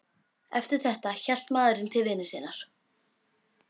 Eftir þetta hélt maðurinn til vinnu sinnar.